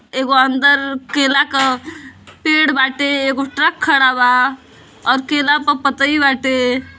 एगो अंदर केला का पेड़ बाटे। एगो ट्रक खड़ा बा और केला प पतआई बाटे।